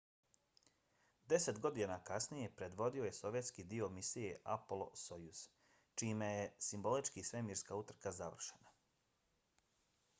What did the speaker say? deset godina kasnije predvodio je sovjetski dio misije apollo–sojuz čime je simbolički svemirska utrka završena